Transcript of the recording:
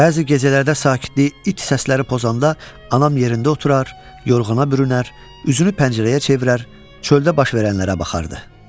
Bəzi gecələrdə sakitlik it səsləri pozanda anam yerində oturur, yorğana bürünər, üzünü pəncərəyə çevirər, çöldə baş verənlərə baxardı.